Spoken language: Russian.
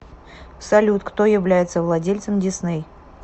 салют кто является владельцем дисней